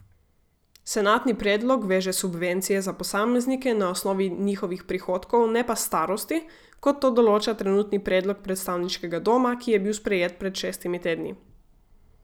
Senatni predlog veže subvencije za posameznike na osnovi njihovih prihodkov ne pa starosti, kot to določa trenutni predlog predstavniškega doma, ki je bil sprejet pred šestimi tedni.